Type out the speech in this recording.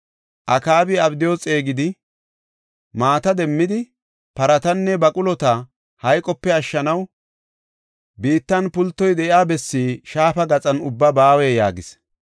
Akaabi Abdiyu xeegidi, “Maata demmidi paratanne baqulota hayqope ashshanaw biittan pultoy de7iya bessinne shaafa gaxan ubbaa ba” yaagis.